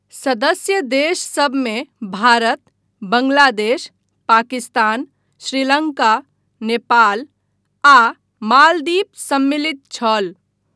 सदस्य देशसभमे भारत, बङ्गलादेश, पाकिस्तान, श्रीलङ्का, नेपाल आ मालदीव सम्मिलित छल।